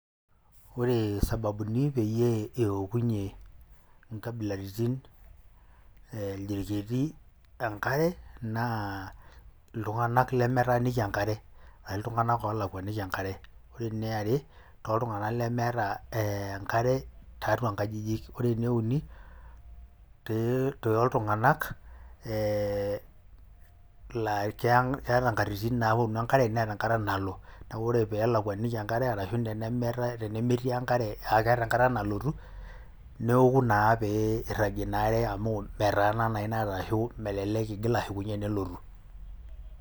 Ore sababuni peyie ewokunye inkabilaritin irjirketi enkare naa iltung'anak lemetaaniki enkare aa iltung'anak oolakuanii enkare. Ore eniare tooltung'anak lemeeta ee enkare tiatua inkajijik. Ore ene uni pee iltung'anak ee laa keang keeta inkatitin naapotu enkare, neeta enkata nalo. Neeku ore pee elakuaniki enkare ashu ene meetai tenemeti enkare aa keeta enkata nalotu newoku naa pee iragie ina are amu metaana naa ina are ashu melelek igil ashukunye enelotu.